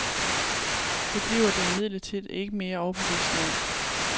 Det bliver det imidlertid ikke mere overbevisende af.